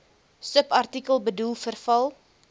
subartikel bedoel verval